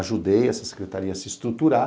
Ajudei essa secretaria a se estruturar.